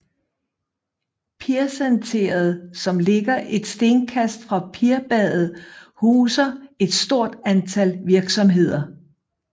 Pirsenteret som ligger et stenkast fra Pirbadet huser et stort antal virksomheder